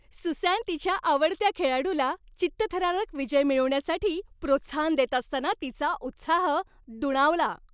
Susan तिच्या आवडत्या खेळाडूला चित्तथरारक विजय मिळवण्यासाठी प्रोत्साहन देत असताना तिचा उत्साह दुणावला.